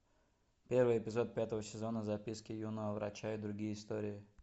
первый эпизод пятого сезона записки юного врача и другие истории